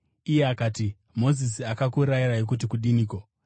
Iye akati, “Mozisi akakurayirai kuti kudiniko?”